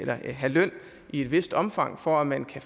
have løn i et vist omfang for at man kan